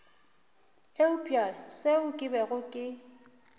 eupša seo ke bego ke